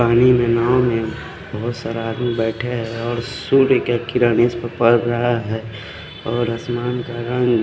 पानी में नाव में बोहोत सारा आदमी बेठे है और सुर्वी के किरा नेस पर पल रहा है और असमान का रंग--